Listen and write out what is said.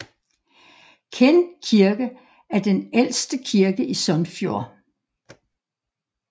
Kinn kirke er den ældste kirke i Sunnfjord